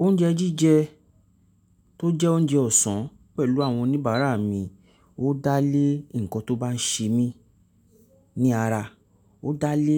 Oúnjẹ jíjẹ tó jẹ́ oúnjẹ ọ̀sán pẹ̀lú àwọn oníbàárà mi, ó dá lé ǹkan tó bá ń ṣe mí ní ara, ó dá lé